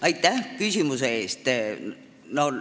Aitäh küsimuse eest!